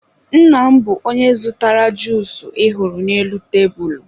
nna m bụ onye zụtara juusu ị hụrụ n'elu tebulu